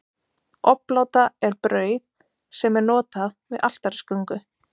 Obláta er brauð sem er notað við altarisgöngu.